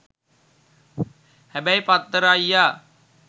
හැබැයි පත්තර අයියා